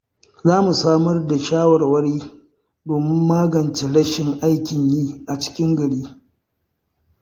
Za mu samar da shawarwari domin magance rashin aikin yi a cikin gari.